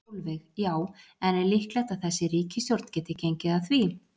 Sólveig: Já, en er líklegt að þessi ríkisstjórn geti gengið að því?